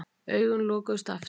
Augun lokuðust aftur.